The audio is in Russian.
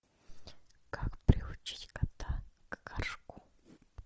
как приучить кота к горшку